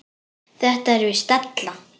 Þetta er víst della.